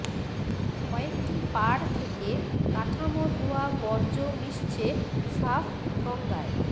কয়েকটি পাড় থেকে কাঠামো ধোয়া বর্জ্য মিশছে সাফ গঙ্গায়